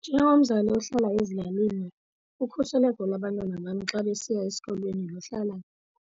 Njengomzali ohlala ezilalini ukhuseleko lwabantwana bam xa besiya esikolweni luhlala